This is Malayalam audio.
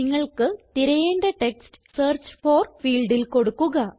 നിങ്ങൾക്ക് തിരയേണ്ട ടെക്സ്റ്റ് സെർച്ച് ഫോർ ഫീൽഡിൽ കൊടുക്കുക